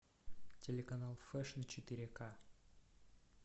телеканал фешн четыре ка